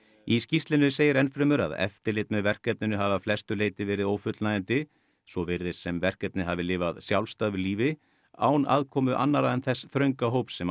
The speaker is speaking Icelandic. í skýrslunni segir enn fremur að eftirlit með verkefninu hafi að flestu leyti verið ófullnægjandi svo virðist sem verkefnið hafi lifað sjálfstæðu lífi án aðkomu annarra en þess þrönga hóps sem